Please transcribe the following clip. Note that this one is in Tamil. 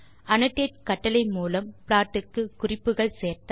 annotate கட்டளை மூலம் ப்ளாட் க்கு குறிப்புகள் சேர்த்தல்